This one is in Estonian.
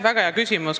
Väga hea küsimus.